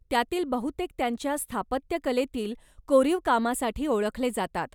त्यातील बहुतेक त्यांच्या स्थापत्यकलेतील कोरीव कामासाठी ओळखले जातात.